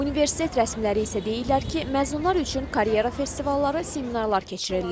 Universitet rəsmiləri isə deyirlər ki, məzunlar üçün karyera festivalları, seminarlar keçirilir.